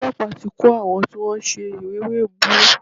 Olọ́pàá ti ń kò àwọn tí wọ́n ń ṣèwé ẹ̀bùrú.